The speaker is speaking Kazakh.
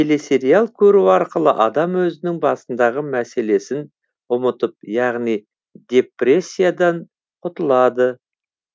біріншіден телесериал көру арқылы адам өзінің басындағы мәселесін ұмытып яғни депрессиядан құтылады